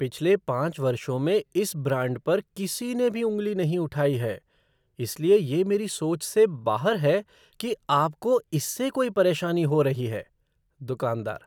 पिछले पाँच वर्षों में इस ब्रांड पर किसी ने भी उँगली नहीं उठाई है, इसलिए ये मेरी सोच से बाहर है कि आपको इससे कोई परेशानी हो रही है। दुकानदार